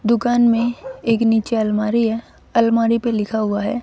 दुकान में एक नीचे अलमारी है। अलमारी पे लिखा हुआ है।